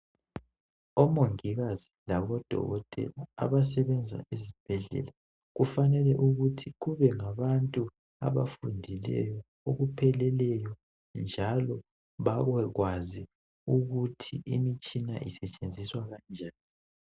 OMongikazi labo Dokotela abasebenza ezibhedlela kufanele ukuthi kube ngabantu abafundileyo okupheleleyo njalo babekwazi ukuthi imitshina isetshenziswa kanjani.